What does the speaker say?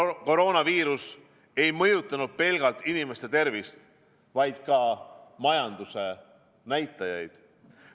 Koroonaviirus ei ole mõjutanud pelgalt inimeste tervist, vaid ka majanduse näitajaid.